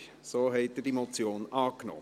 So haben Sie diese Motion angenommen.